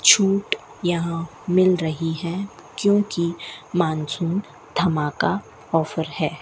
छूट यहां मिल रही है क्योंकि मानसून धमाका ऑफर है।